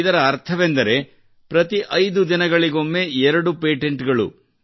ಇದರ ಅರ್ಥವೆಂದರೆ ಪ್ರತಿ ಐದು ದಿನಗಳಿಗೊಮ್ಮೆ ಎರಡು ಪೇಟೆಂಟ್ ಗಳು